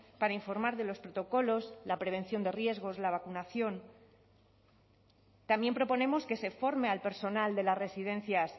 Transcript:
para informar de los protocolos la prevención de riesgos la vacunación también proponemos que se forme al personal de las residencias